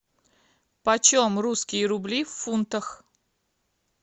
почем русские рубли в фунтах